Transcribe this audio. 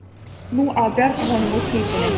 Nú á að bjarga honum úr klípunni.